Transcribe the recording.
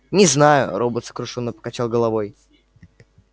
не знаю робот сокрушённо покачал головой